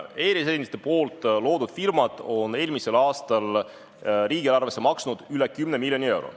E-residentide loodud firmad maksid eelmisel aastal riigieelarvesse üle kümne miljoni euro.